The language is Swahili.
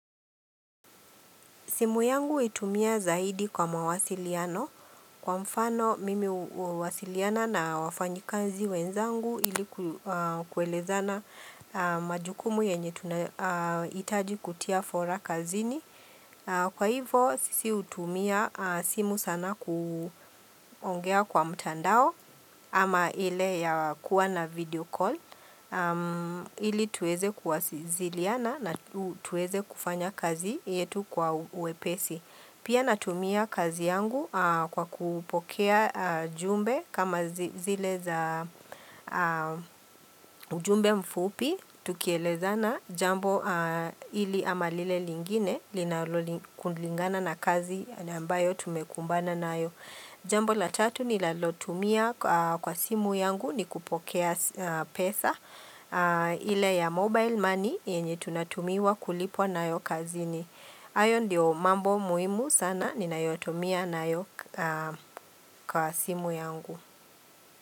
Simu yangu huitumia zaidi kwa mawasiliano kwa mfano mimi huwasiliana na wafanyi kazi wenzangu ili kuelezana majukumu yenye tunahitaji kutia fora kazini. Kwa hivo sisi hutumia simu sana kuongea kwa mtandao ama ile ya kuwa na video call ili tuweze kuwasiliana kufanya kazi yetu kwa uwepesi. Pia natumia kazi yangu kwa kupokea jumbe kama zile za ujumbe mfupi tukielezana jambo hili ama lile lingine, kulingana na kazi ambayo tumekumbana nayo. Jambo la tatu nilalotumia kwa simu yangu ni kupokea pesa ile ya mobile money yenye tunatumiwa kulipwa nayo kazini. Hayo ndio mambo muhimu sana, ninayotumia nayo kwa simu yangu.